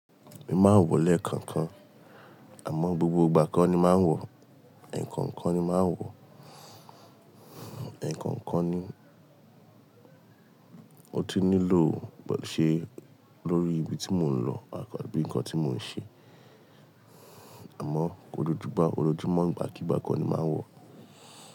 Èmi máa ń wọ̀ lẹ́ẹ̀kan kan, àmọ́ gbogbo ìgbà kọ́ ni máa ń wọ̀. Ẹ̀ẹ̀kan kọ́ ni máa ń wọ̀, ẹ̀ẹ̀kan kọ́ ni ó ti nílò bó ṣe lórí ibi tí mò ń lọ àbí nǹkan tí mò ń ṣe. Àmọ́, ojoojúmọ́, ojoojúmọ́ ìgbàkígbà kọ́ ni máa ń wọ̀.